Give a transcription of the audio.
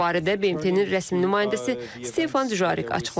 Bu barədə BMT-nin rəsmi nümayəndəsi Stefan Dujarrik açıqlama verib.